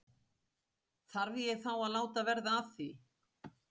Þarf ég þá að láta verða að því?